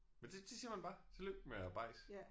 Men det det siger man bare? Tillykke med bajsen